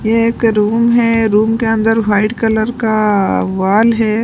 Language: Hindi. ये एक रूम है रूम के अंदर वाइट कलर कााा वॉल है।